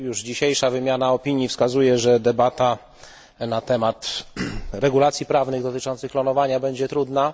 Dzisiejsza wymiana opinii wskazuje, że debata na temat regulacji prawnych dotyczących klonowania zwierząt będzie trudna.